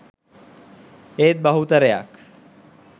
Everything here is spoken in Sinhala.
ඒත් බහුතරයක්